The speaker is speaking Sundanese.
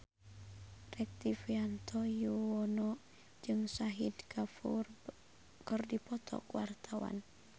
Rektivianto Yoewono jeung Shahid Kapoor keur dipoto ku wartawan